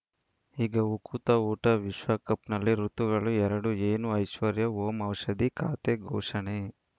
ಈಗ ಉಕುತ ಊಟ ವಿಶ್ವಕಪ್‌ನಲ್ಲಿ ಋತುಗಳು ಎರಡು ಏನು ಐಶ್ವರ್ಯಾ ಓಂ ಔಷಧಿ ಖಾತೆ ಘೋಷಣೆ